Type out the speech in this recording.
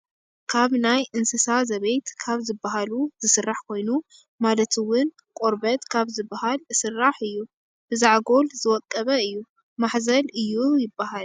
ካብ ናይ እንስሳ ዘቤት ካብ ዝብሃሉ ዝስራሕ ኮይኑ ማለት እውን ቆርበት ካብ ዝብሃል እስራሕ እዩ። ብዛዕጎል ዝወቀበ እዩ። ማሕዘል እዩ ይብሃል።